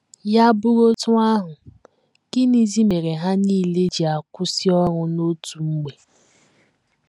Ya bụrụ otú ahụ, gịnịzi mere ha nile ji akwụsị ọrụ n’otu mgbe?